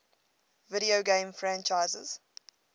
video game franchises